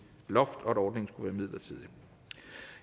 loft og at ordningen skulle være midlertidig